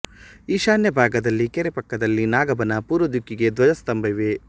ಈಶಾನ್ಯ ಭಾಗದಲ್ಲಿ ಕೆರೆ ಪಕ್ಕದಲ್ಲಿ ನಾಗಬನ ಪೂರ್ವ ದಿಕ್ಕಿಗೆ ಧ್ವಜ ಸ್ತಂಭ ಇವೆ